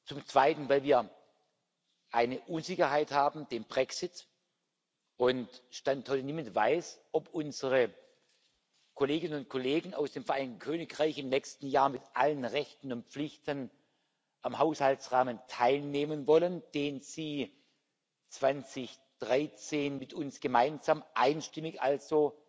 zum Zweiten, weil wir eine Unsicherheit mit dem Brexit haben und Stand heute niemand weiß, ob unsere Kolleginnen und Kollegen aus dem Vereinigten Königreich im nächsten Jahr mit allen Rechten und Pflichten am Haushaltsrahmen teilnehmen wollen, den sie 2013 mit uns gemeinsam einstimmig, also